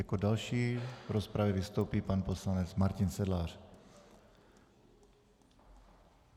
Jako další v rozpravě vystoupí pan poslanec Martin Sedlář.